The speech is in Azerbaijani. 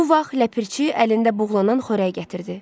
Bu vaxt ləpirçi əlində buğlanan xörək gətirdi.